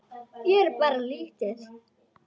Ég á bara lítið.